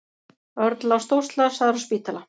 Örn lá stórslasaður á spítala.